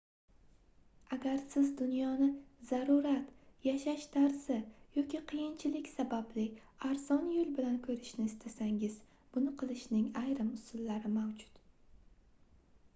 agar siz dunyoni zarurat yashash tarzi yoki qiyinchilik sababli arzon yoʻl bilan koʻrishni istasangiz buni qilishning ayrim usullari mavjud